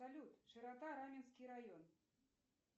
салют широта раменский район